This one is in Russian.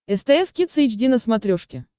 стс кидс эйч ди на смотрешке